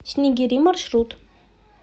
снегири маршрут